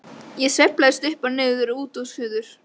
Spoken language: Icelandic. Ég sveiflast upp og niður, út og suður.